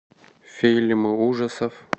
фильмы ужасов